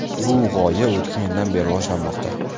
Bu g‘oya o‘tgan yildan beri rivojlanmoqda.